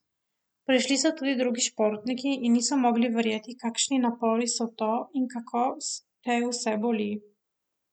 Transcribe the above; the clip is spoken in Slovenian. Prišli so tudi drugi športniki in niso mogli verjeti, kakšni napori so to in kako te vse boli.